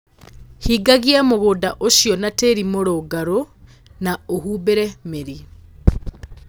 Hingagia mũgũnda ũcio na tĩĩri mũrũngarũ na ũhumbĩre mĩri.